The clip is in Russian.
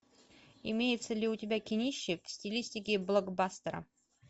имеется ли у тебя кинище в стилистике блокбастера